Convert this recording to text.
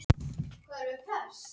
Mér fannst við spila geysilega vel